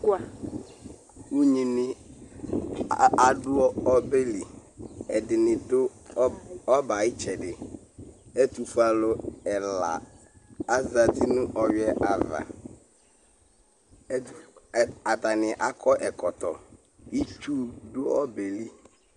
Unyini adʋ ɔbɛli ɛdini dʋ ɔbɛ ayʋ itsɛdi ɛtʋfue alʋ ɛla azati nʋ ɔwuiɛ ava atani akɔ ɛkɔtɔ itsu dʋ ɔbɛli